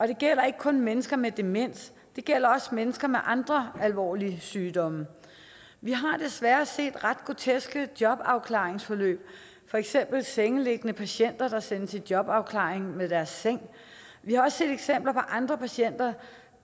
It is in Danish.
det gælder ikke kun mennesker med demens det gælder også mennesker med andre alvorlige sygdomme vi har desværre set ret groteske jobafklaringsforløb for eksempel sengeliggende patienter der sendes i jobafklaring med deres seng vi har også set eksempler på andre patienter